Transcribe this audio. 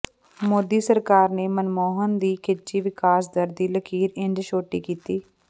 ਮੋਦੀ ਸਰਕਾਰ ਨੇ ਮਨਮੋਹਨ ਦੀ ਖਿੱਚੀ ਵਿਕਾਸ ਦਰ ਦੀ ਲਕੀਰ ਇੰਝ ਛੋਟੀ ਕੀਤੀ